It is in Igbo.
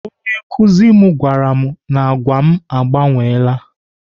Onye nkụzi m gwara m na agwa m agbanweela.